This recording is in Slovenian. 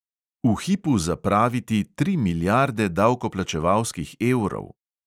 V hipu zapraviti tri milijarde davkoplačevalskih evrov?